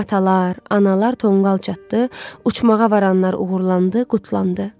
Komatalar, analar tonqal çatdı, uçmağa varanlar uğurlandı, qutlandı.